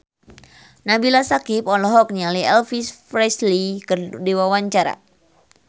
Nabila Syakieb olohok ningali Elvis Presley keur diwawancara